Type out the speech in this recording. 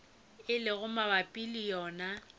e lego mabapi le wona